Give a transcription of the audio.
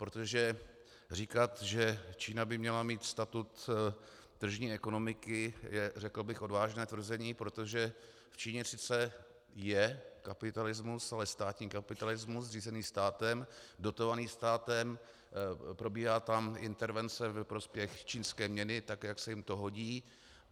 Protože říkat, že Čína by měla mít status tržní ekonomiky, je řekl bych odvážné tvrzení, protože v Číně sice je kapitalismus, ale státní kapitalismus řízený státem, dotovaný státem, probíhá tam intervence ve prospěch čínské měny, tak jak se jim to hodí.